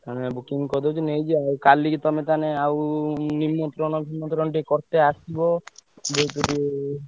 ତମେ booking କରିଡଉଛ ନେଇ ଯିବା ଆଉ କାଲିକି ତମେ ତାହେଲେ ଆଉ ନିମନ୍ତ୍ରଣ ଫିମନ୍ତ୍ରଣ ଟିକେ କରିତେ ଆସିବ ।